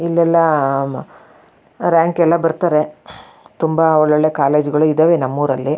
ಇಲ್ಲೆಲ್ಲಾ ರಾಂಕ್ ಎಲ್ಲ ಬರ್ತಾರೆ ತುಂಬಾ ಒಳ್ಳೊಳ್ಳೆ ಕಾಲೇಜು ಗಳು ಇದಾವೆ ನಮ್ ಊರಲ್ಲಿ --